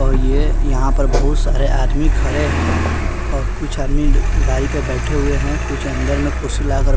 और ये यहां पर बहुत सारे आदमी खड़े हैं और कुछ आदमी गाड़ी पे बैठे हुए हैं कुछ अंदर में कुर्सी लगाकर--